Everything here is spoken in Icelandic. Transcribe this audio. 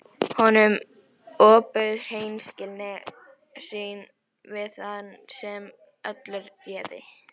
Honum ofbauð hreinskilni sín við þann sem öllu réði.